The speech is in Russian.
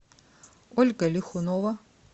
ольга лихунова